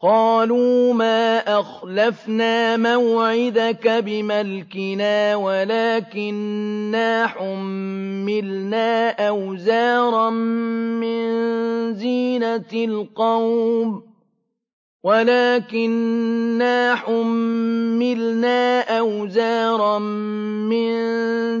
قَالُوا مَا أَخْلَفْنَا مَوْعِدَكَ بِمَلْكِنَا وَلَٰكِنَّا حُمِّلْنَا أَوْزَارًا مِّن